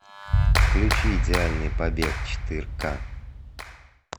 включи идеальный побег четыре ка